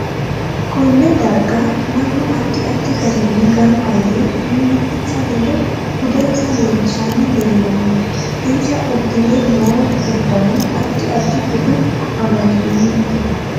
Konne darga mannu addi addi garinni ganba yee mimitinsa ledo budensa leelishani leelanno insa uddire noo uddanno addi addi bude amadinote